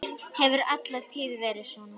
Hefur alla tíð verið svona.